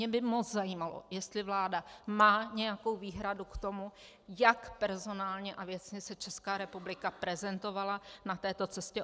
Mě by moc zajímalo, jestli vláda má nějakou výhradu k tomu, jak personálně a věcně se Česká republika prezentovala na této cestě.